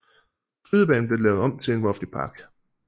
Skydebanen blev lavet om til en offentlig park